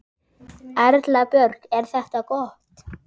Erla Björg: Er þetta gott?